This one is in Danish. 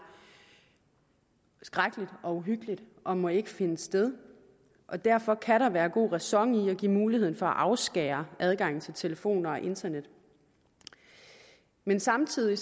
skrækkeligt og uhyggeligt og må ikke finde sted og derfor kan der være god ræson i at give mulighed for at afskære adgangen til telefoner og internet men samtidig